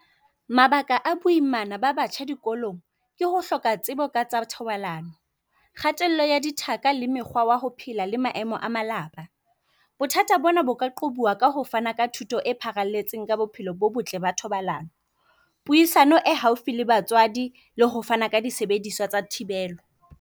Mabaka a boimana ba batjha dikolong ke ho hloka tsebo ka tsa thobalano, kgatello ya dithaka, le mekgwa yaho phela le maemo a malapa. Bothata bona bo ka qobuwa ka ho fana ka thuto e pharalletseng ka bophelo bo botle ba thobalano Puisano e haufi le batswadi le ho fana ka disebediswa tsa thibelo.